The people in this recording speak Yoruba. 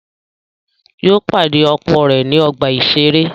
Yóò pàdé ọkọ̀ rẹ̀ ní ọgbà-ìṣeré